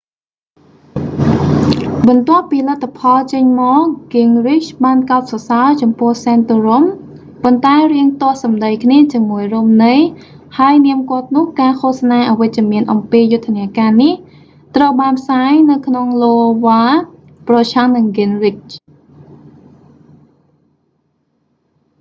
បន្ទាប់ពីលទ្ធផលចេញមក gingrich បានកោតសរសើរចំពោះ santorum ប៉ុន្តែរាងទាស់សម្ដីគ្នាជាមួយ romney ហើយនាមគាត់នោះ ការឃោសនាអវិជ្ជមានអំពីយុទ្ធនការនេះ ត្រូវបានផ្សាយនៅក្នុងឡូវ៉ា ប្រឆាំងនឹង gingrich